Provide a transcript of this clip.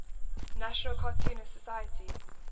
national cartoonists society